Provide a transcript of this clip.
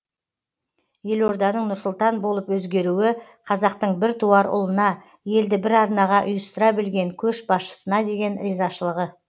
елорданың нұр сұлтан болып өзгеруі қазақтың бір туар ұлына елді бір арнаға ұйыстыра білген көшбасшысына деген ризашылығы